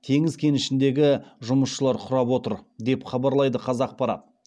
теңіз кенішіндегі жұмысшылар құрап отыр деп хабарлайды қазақпарат